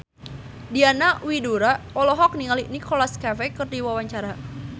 Diana Widoera olohok ningali Nicholas Cafe keur diwawancara